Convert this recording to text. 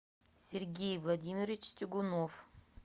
сергей владимирович тягунов